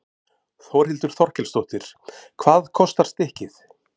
Þórhildur Þorkelsdóttir: Hvað kostar stykkið?